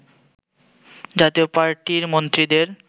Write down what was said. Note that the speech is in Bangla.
জাতীয় পার্টির মন্ত্রীদের